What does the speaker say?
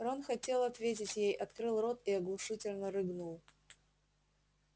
рон хотел ответить ей открыл рот и оглушительно рыгнул